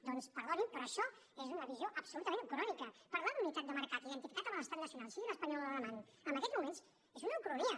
doncs perdonin però això és una visió absolutament ucrònica parlar d’unitat de mercat identificat amb l’estat nacional sigui l’espanyol o l’alemany en aquests moments és una ucronia